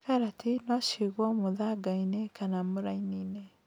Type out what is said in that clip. Karati nocigwo mũthangainĩ kana murainĩ.